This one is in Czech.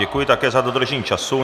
Děkuji také za dodržení času.